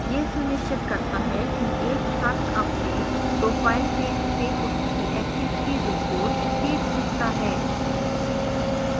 यह सुनिश्चित करता है कि एक छात्र अपने profile page से उसकी activity reports देख सकता है